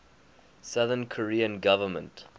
south korean government